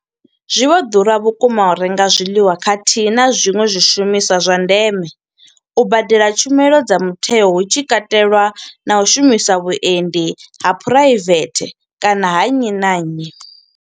Zwi vho ḓura vhukuma u renga zwiḽiwa khathihi na zwiṅwe zwishumiswa zwa ndeme, u badela tshumelo dza mutheo hu tshi katelwa na u shumisa vhuendi ha phuraivethe kana ha nnyi na nnyi.